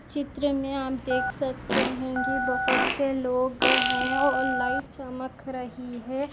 चित्र मे आप देख सकते है की बहुत से लोग है और लाइट चमक रही है।